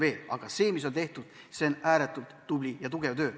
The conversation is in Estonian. Aga juba see, mis seni on tehtud, on ääretult tubli ja tugev töö.